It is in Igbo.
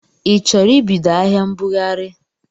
i chọrọ ibido ahịa mbụghari?